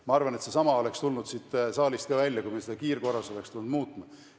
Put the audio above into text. Ma arvan, et seesama oleks tulnud siit saalist ka välja, kui me oleksime hakanud kiirkorras seda muutma.